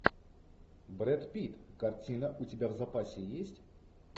брэд питт картина у тебя в запасе есть